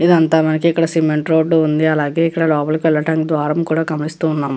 ఇదంతా మనకి ఇక్కడ సిమెంట్ రోడ్డు ఉంది అలాగే ఇక్కడ లోపలికి వెళ్ళటానికి ద్వారం కూడా గమనిస్తూ ఉన్నాము.